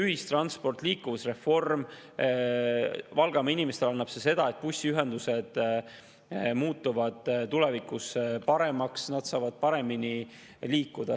Ühistranspordi ja liikuvusreform annavad Valgamaa inimestele seda, et bussiühendused muutuvad tulevikus paremaks ja inimesed saavad paremini liikuda.